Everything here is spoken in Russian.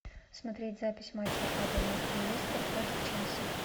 смотреть запись матча апл лестер против челси